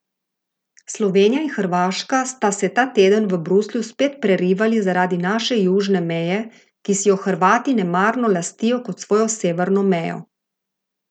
Slovenija in Hrvaška sta se ta teden v Bruslju spet prerivali zaradi naše južne meje, ki si jo Hrvati nemarno lastijo kot svojo severno mejo.